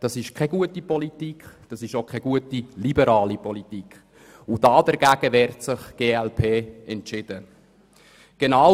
Es ist auch keine gute liberale Politik, und die glp wehrt sich entschieden dagegen.